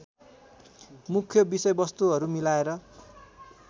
मुख्य विषयवस्तुहरू मिलाएर